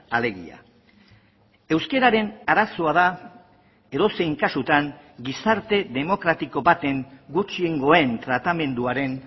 alegia euskararen arazoa da edozein kasutan gizarte demokratiko baten gutxiengoen tratamenduaren